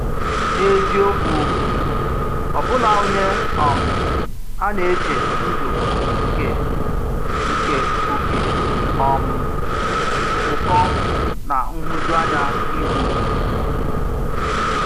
N’eziokwu, ọ̀bụ̀la onye um à nà-echè ndụ̀ nke nke òké um ụ̀kọ̀ na nhụ̀júànyà ihu.